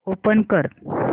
open कर